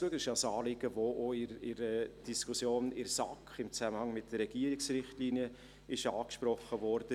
Das ist auch ein Anliegen, das in der Diskussion in der SAK im Zusammenhang mit den Regierungsrichtlinien angesprochen wurde.